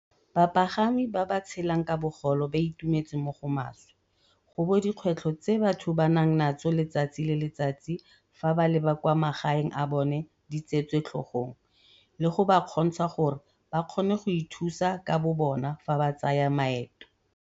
"Bapagami ba ba tshelang ka bogole ba itumetse mo go maswe gobo dikgwetlho tse batho banang natso letsatsi le letsatsi fa ba leba kwa magaeng a bona di tseetswe tlhogong, le go ba kgontsha gore bakgone go ithusa ka bobona fa ba tsaya maeto."